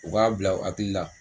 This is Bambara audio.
U b'a bila u hakili la